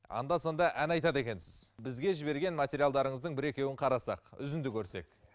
анда санда ән айтады екенсіз бізге жіберген материалдарыңыздың бір екеуін қарасақ үзінді көрсек